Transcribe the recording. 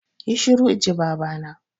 Yi shiru inji baba na!